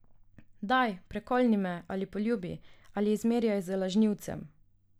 Daj, prekolni me ali poljubi ali zmerjaj z lažnivcem.